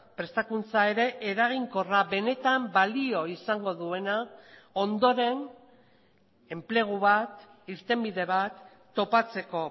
prestakuntza ere eraginkorra benetan balio izango duena ondoren enplegu bat irtenbide bat topatzeko